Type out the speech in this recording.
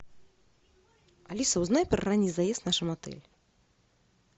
алиса узнай про ранний заезд в нашем отеле